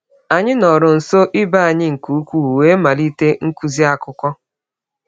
Anyị nọrọ nso ibe anyị nke ukwuu wee malite nkuzi akụkọ.